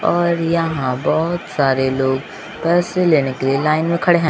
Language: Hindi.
और यहां बहोत सारे लोग पैसे लेने के लिए लाइन में खड़े हैं।